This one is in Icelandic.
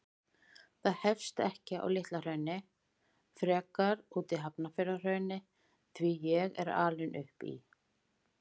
Það hefst ekki á Litla-Hrauni, frekar úti í Hafnarfjarðarhrauni, því ég er alinn upp í